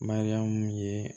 Mariyamu ye